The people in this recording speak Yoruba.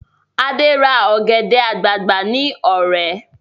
Ade ra ọ̀gẹ̀dẹ̀ àgbagbà ní Ọ̀rẹ̀